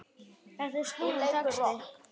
Þetta er snúinn texti.